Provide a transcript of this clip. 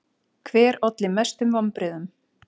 Hver olli mestum vonbrigðum?